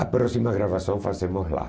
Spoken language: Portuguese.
A próxima gravação fazemos lá.